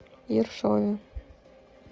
ершове